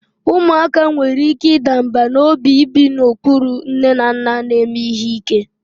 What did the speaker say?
Ụmụaka nwere ike ịda mbà n'obi ibi n'okpuru nne na nna na-eme ihe ike: